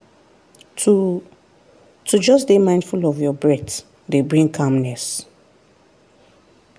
to to just dey mindful of your breath dey bring calmness.